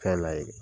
Fɛn la ye